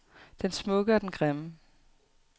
Den smukke og den grimme.